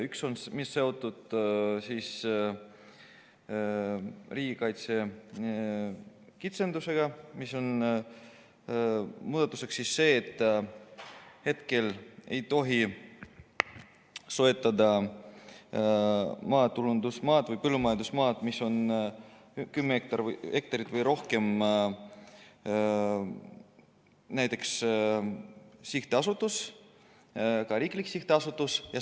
Üks muudatus on seotud riigikaitselise kitsendusega ja muudatus, et praegu ei tohi soetada maatulundusmaad või põllumajandusmaad, mille suurus on kümme hektarit või rohkem, sihtasutus, ka riiklik sihtasutus mitte.